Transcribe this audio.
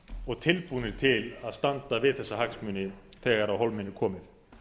og tilbúnir til að standa við þessa hagsmuni þegar á hólminn er komið